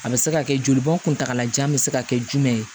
A bɛ se ka kɛ joli bɔn kuntalajan bɛ se ka kɛ jumɛn ye